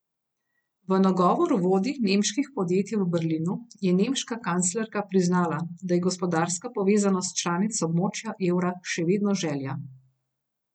V nagovoru vodij nemških podjetij v Berlinu je nemška kanclerka priznala, da je gospodarska povezanost članic območja evra še vedno želja.